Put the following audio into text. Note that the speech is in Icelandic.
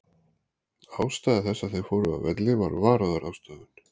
Ástæða þess að þeir fóru af velli var varúðarráðstöfun.